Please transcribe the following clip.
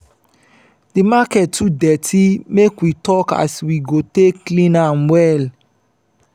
di market too dirty make we tok as we go take clean am well.